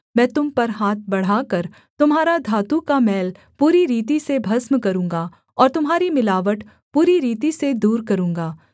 मैं तुम पर हाथ बढ़ाकर तुम्हारा धातु का मैल पूरी रीति से भस्म करूँगा और तुम्हारी मिलावट पूरी रीति से दूर करूँगा